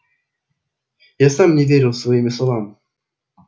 я сам не верил своими словам